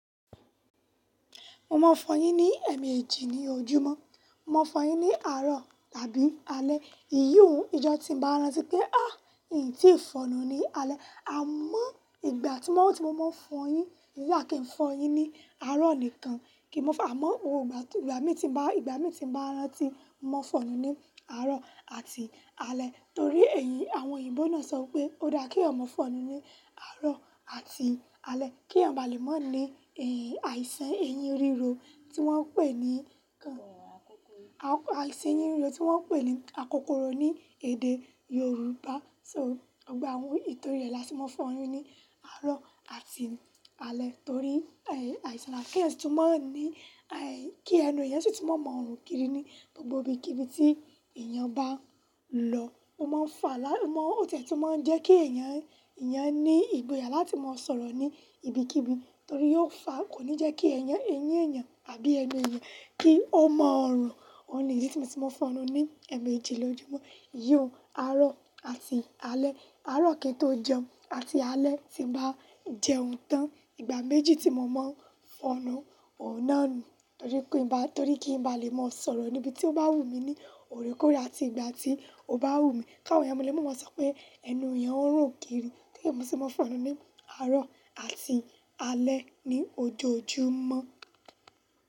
Mo máa fọn yin ní ẹ̀ẹ̀mejì ní ojúmọ́, mo máa fọn yin ní àárọ̀ tàbí alẹ́. Iyì òun, ijọ́ ti ń bá rántí pé, ah! N tí í ń fọ̀nù ni alẹ́. A mọ ìgbà tí mo máa fọn yin, nígbà tí n fọn yin ní àárọ̀ nìkan, kí n mọ, àmọ́ ìgbà mi tí ń bá, ìgbà mi ti ń bá rāntí mo fọnù ni àárọ̀ àti alẹ́. Torí èyí àwọn òyìnbó náà sọ pé ó dá kí èèyàn fọnù ni àárọ̀ àti alẹ́ kí ẹ̀ bà lè mọ ni, eh, àìsàn ẹyin ríro tí wọ́n ń pè ní, àìsàn ẹyin ríro tí wọ́n ń pè ní akokoro ní èdè Yorùbá. So, ọgbà ohun ètò rẹ̀ la ti mo fọn yin ní àárọ̀ àti alẹ́ torí, eh, àìsàn náà kí ẹni yẹn sì tún máa ní, eh, kí ẹnu ìyẹn sì tún mọ mọ run kiri ní gbogbo ibi, kibi tí èèyàn bá lọ. Ó máa ń fa lá, ó tẹ̀ẹ́ tún máa ń jẹ́ kí ẹ̀yàn, ẹ̀yàn ní ìbòyà láti máa sọ̀rọ̀ ní ibi kibí torí yóò fa, kò ní jẹ́ kí ẹ̀yàn, ẹyín ẹ̀yàn àbí ẹnu èèyàn kí ó máa rùn òhun nìdí tí mo ti máa fọnù ní ẹ̀ẹ̀mejì lójúmọ́, iyì òhun àárọ̀ àti alẹ́. Àárọ̀ kì í tó jẹun àti alẹ́ tí ń bá jẹun tán. Ìgbà méjì tí mo máa ń fọnù, òun náà nù torí kí n ba, torí kí n bá lè máa sọ̀rọ̀ níbi tí ó bá wù mí ní òrèkóórè àti ìgbà tí ó bá wù mí. Káwọn èèyàn mọ̀lẹ́, mo máa sọ pé ẹnu ìyẹn ó rùn kiri torí mo sì máa ń fọnù ní àárọ̀ àti alẹ́ ní ojoojúmọ́.